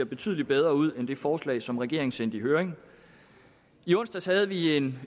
betydelig bedre ud end det forslag som regeringen sendte i høring i onsdags havde vi en